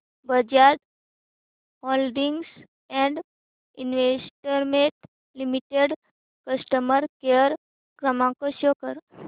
Bajaj holdings and investment limited customer care क्रमांक show कर